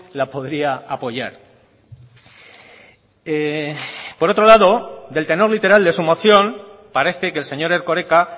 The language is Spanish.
la podría apoyar por otro lado del tenor literal de su moción parece que el señor erkoreka